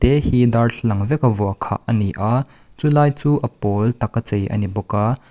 hei hi darthlalang veka vuah khah a ni a chulai chu a pawl taka chei a ni bawk a.